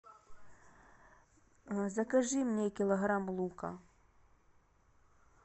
закажи мне килограмм лука